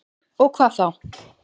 Og hvað þá?